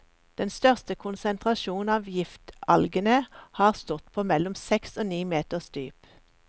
Den største konsentrasjon av giftalgene har stått på mellom seks og ni meters dyp.